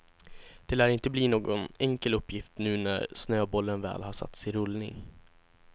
Det lär inte bli någon enkel uppgift nu när snöbollen väl har satts i rullning.